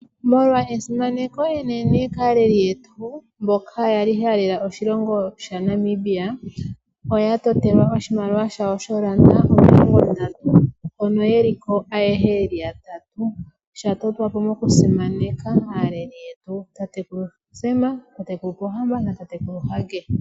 Molwa esimaneko enene kaaleli yetu, mboka yali ya lela oshilongo sha Namibia, oya totelwa oshimaliwa shawo shoolanda omilongondatu hono yeli ko ayehe yeli yatatu, sha totwa po moku simaneka aaleli yetu Tatekulu Sam, Tatekulu Pohamba na Tatekulu Hage.